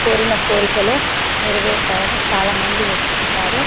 కోరిన కోరికలు నెరవేరుతాయని చాలామంది వస్తుంటారు.